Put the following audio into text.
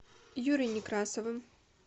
юрой некрасовым